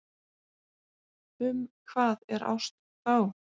Um hvað er ást þá?